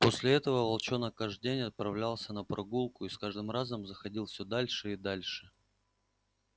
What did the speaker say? после этого волчонок каждый день отправлялся на прогулку и с каждым разом заходил всё дальше и дальше